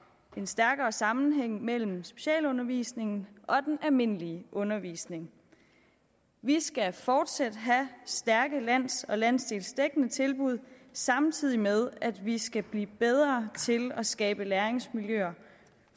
en stærkere sammenhæng mellem specialundervisningen og den almindelige undervisning vi skal fortsat have stærke lands og landsdelsdækkende tilbud samtidig med at vi skal blive bedre til at skabe læringsmiljøer